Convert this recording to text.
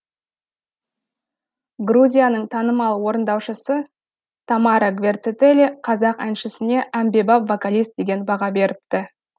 грузияның танымал орындаушысы тамара гвертецели қазақ әншісіне әмбебап вокалист деген баға беріпті